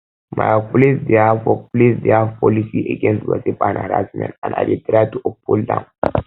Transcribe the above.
my workplace dey have workplace dey have policy against gossip and harassment and i dey try to uphold am